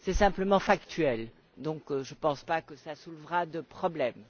C'est simplement factuel, donc je ne pense pas que ça soulèvera de problème.